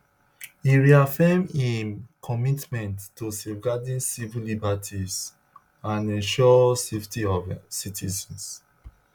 e reaffirm im commitment to safeguarding civil liberties and ensure safety of citizens